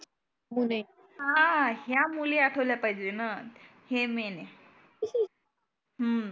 कोण आहे. हा ह्या मुली आठवल्या पाहीजे ना हे मेन आहे. हम्म